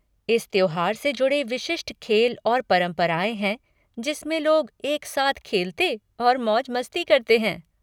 इस त्योहार से जुड़े विशिष्ट खेल और परंपराएँ हैं जिसमें लोग एक साथ खेलते और मौज मस्ती करते हैं।